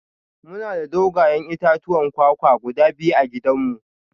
Muna da dogayen itatuwan kwakwa guda biyu a gidanmu